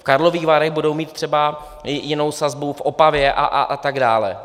V Karlových Varech budou mít třeba jinou sazbu, v Opavě a tak dále.